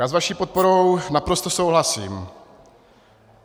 Já s vaší podporou naprosto souhlasím.